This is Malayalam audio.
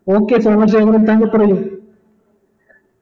okay സോമശേഖരൻ താങ്കൾ പറയു